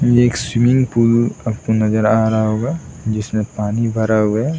ये एक swimming pool आपको नजर आ रहा होगा जिसमें पानी भरा हुआ है।